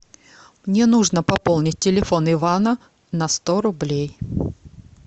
мне нужно пополнить телефон ивана на сто рублей